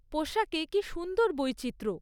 পোশাকে কী সুন্দর বৈচিত্র্য!